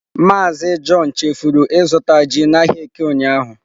Mazị john chefuru azụta ji n'ahịa Eke ụnyahụ.